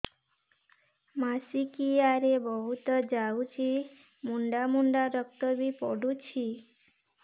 ମାସିକିଆ ରେ ବହୁତ ଯାଉଛି ମୁଣ୍ଡା ମୁଣ୍ଡା ରକ୍ତ ବି ପଡୁଛି